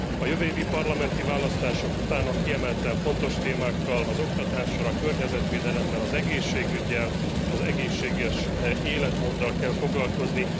A jövő évi parlamenti választások után a kiemelten fontos témákkal, az oktatással, a környezetvédelemmel, az egészségüggyel, az egészséges életmóddal kell foglalkozni.